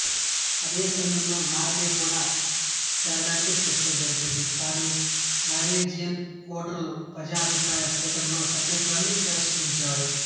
అదే సమయంలో నార్వే కూడా చేరడానికి చర్చలు జరిపింది కాని నార్వేజియన్ ఓటర్లు ప్రజాభిప్రాయ సేకరణలో సభ్యత్వాన్ని తిరస్కరించారు